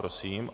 Prosím.